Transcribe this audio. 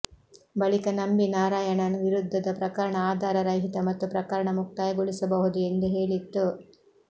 ಬಳಿಕ ನಂಬಿ ನಾರಾಯಣನ್ ವಿರುದ್ಧದ ಪ್ರಕರಣ ಆಧಾರ ರಹಿತ ಮತ್ತು ಪ್ರಕರಣ ಮುಕ್ತಾಯಗೊಳಿಸಬಹುದು ಎಂದು ಹೇಳಿತ್ತು